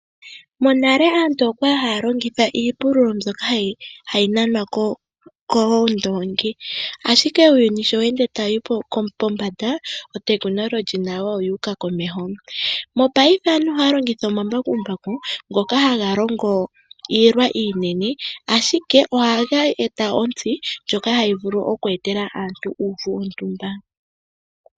Monale aantu okwali haya longitha iipululo mbyono kwali hayi nanwa koondongi, ashike uuyuni sho weende tawuyi komeho notekinolohi nayo ota yiyi komeho. Mopaife aantu ohaya longitha omambakumbaku ngoka haga longo iilwa iinene ashike ohaga eta ontsi ndjono hayi vulu oku etela aantu uuvu wontumba.